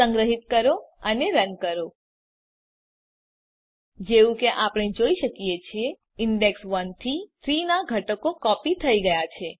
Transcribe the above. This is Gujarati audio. સંગ્રહીત કરો અને રન કરો જેવું કે આપણે જોઈ શકીએ છીએ ઇંડેક્ષ ૧ થી ૩ નાં ઘટકો કોપી થઇ ગયા છે